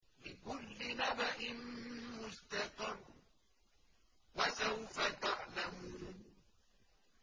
لِّكُلِّ نَبَإٍ مُّسْتَقَرٌّ ۚ وَسَوْفَ تَعْلَمُونَ